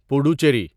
Puducherry